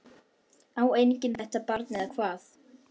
Á enginn þetta barn eða hvað?